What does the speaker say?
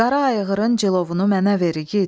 Qara ayğırın cilovunu mənə ver igid,